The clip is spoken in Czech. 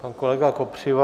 Pan kolega Kopřiva.